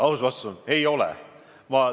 Aus vastus on, et ei ole.